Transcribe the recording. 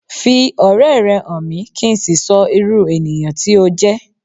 Fi ọ̀rẹ́ rẹ hàn mí kín so ìrú ènìyàn tí o jẹ́